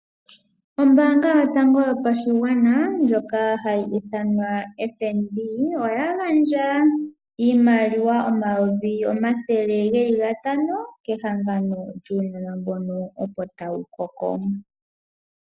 Ombaanga yotango yopashigwana ndjoka hayi ithanwa FNB, oya gandja iimaliwa omayovi omathele geli gatano kehangano lyuunona mbono opo tawu koko.